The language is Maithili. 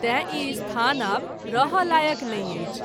तैं ई स्थान आब रहय लायक़ नहिं अछि।